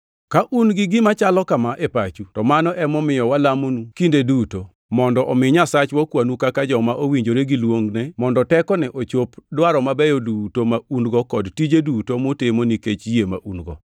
Ka un gi gima chalo kama e pachu, to mano emomiyo walamonu kinde duto, mondo omi Nyasachwa okwanu kaka joma owinjore gi luongne, mondo tekone ochop dwaro mabeyo duto ma un-go kod tije duto mutimo nikech yie ma un-go.